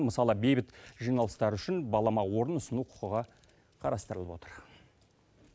мысалы бейбіт жиналыстар үшін балама орын ұсыну құқығы қарастырылып отыр